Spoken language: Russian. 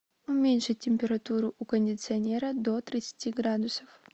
уменьшить температуру у кондиционера до тридцати градусов